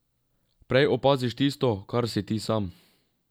Prej opaziš tisto, kar si ti sam?